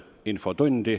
Infotund.